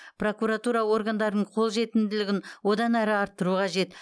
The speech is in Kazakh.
прокуратура органдарының қолжетімділігін одан әрі арттыру қажет